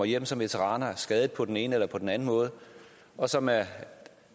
hjem som veteraner skadede på den ene eller på den anden måde og som af